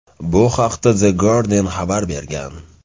Bu haqda The Guardian xabar bergan .